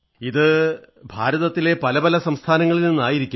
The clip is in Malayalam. ഇത് ഭാരതത്തിലെ പല പല സംസ്ഥാനങ്ങളിൽ നിന്നായിരുന്നിരിക്കും